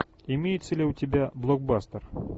имеется ли у тебя блокбастер